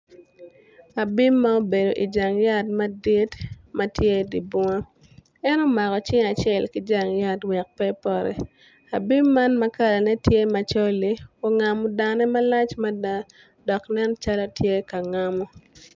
Abim ma obedo ijang yat madit ma tye idye bunga en omako cing acel ki jang yat wek pe epoti abim man ma kalane tye macol-li ongamo dane malc mada dok nen calo tye ka ngamo.